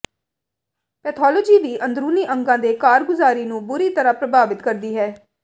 pathology ਵੀ ਅੰਦਰੂਨੀ ਅੰਗਾਂ ਦੇ ਕਾਰਗੁਜ਼ਾਰੀ ਨੂੰ ਬੁਰੀ ਤਰ੍ਹਾਂ ਪ੍ਰਭਾਵਿਤ ਕਰਦੀ ਹੈ